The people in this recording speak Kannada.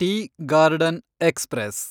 tea garden express